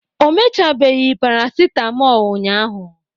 o mechabeghị paracetmol ụnyahụ